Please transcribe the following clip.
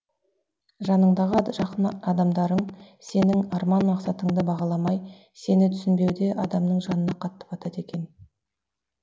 жаныңдағы жақын адамдарың сенің арман мақсаттыңды бағаламай сені түсінбеуде адамның жанына қатты батады екен